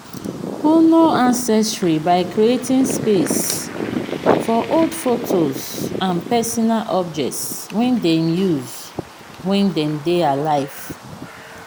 honor ancestry by creating space for old photos and personal objects wey dem use when dem dey alive